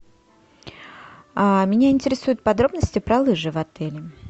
меня интересуют подробности про лыжи в отеле